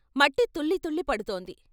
మట్టి తుళ్ళి తుళ్ళి పడుతోంది.